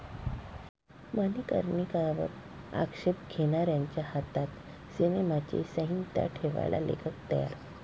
मणिकर्णिका'वर आक्षेप घेणाऱ्यांच्या हातात सिनेमाची संहिता ठेवायला लेखक तयार